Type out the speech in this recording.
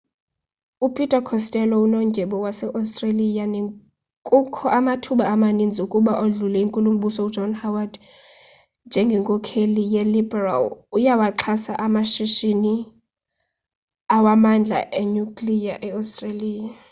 upeter costello unondyebo waseostreliya nekukho amathuba amaninzi ukuba odlule inkulumbuso john howard njengenkokheli yeliberal uyawaxhasa amashishini amandla enyukliya eostreliya